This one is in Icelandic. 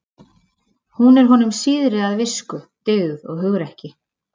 Hún er honum síðri að visku, dygð og hugrekki.